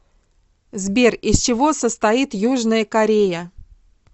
сбер из чего состоит южная корея